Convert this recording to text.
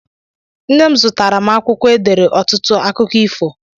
Nne m zụtara m akwụkwọ edere ọtụtụ akụkọ ifo.